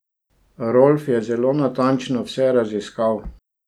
Rolf je zelo natančno vse raziskal.